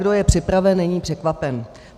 Kdo je připraven, není překvapen.